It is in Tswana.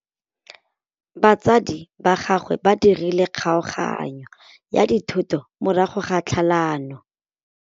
Batsadi ba gagwe ba dirile kgaoganyô ya dithoto morago ga tlhalanô.